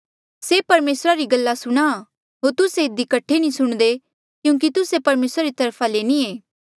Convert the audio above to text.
जो कोई परमेसरा रा हुंहां से परमेसरा री गल्ला सुणहां होर तुस्से इधी कठे नी सुणदे क्यूंकि तुस्से परमेसरा री तरफा ले नी ये